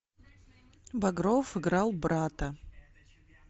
багров играл брата